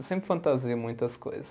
Eu sempre fantasio muitas coisas.